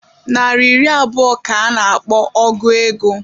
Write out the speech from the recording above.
Nari iri abụọ ka a na-akpọ ọgu ego.